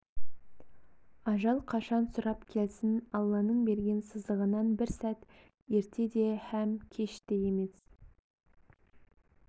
ажал қашан сұрап келсін алланың берген сызығынан бір сәт ерте де һәм кеш те емес